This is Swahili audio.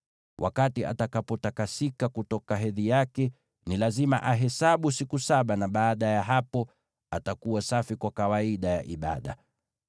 “ ‘Wakati atakapotakasika kutoka hedhi yake, ni lazima ahesabu siku saba, na baada ya hapo atakuwa safi kwa kawaida ya ibada.